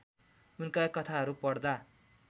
उनका कथाहरू पढदा